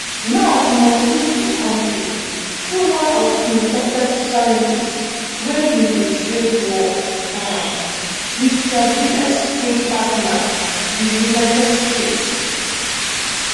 now e must lead di kontri through one of im toughest challenges wey be di trade war um wit dia biggest trading partner di united states